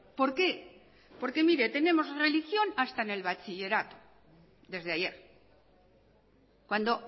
por qué porque mire tenemos religión hasta en el bachillerato desde ayer cuando